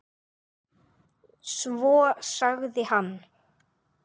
Svo sagði hann.